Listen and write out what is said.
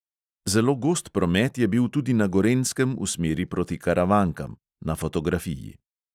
Zelo gost promet je bil tudi na gorenjskem v smeri proti karavankam (na fotografiji).